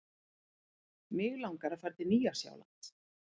Mig langar að fara til Nýja-Sjálands.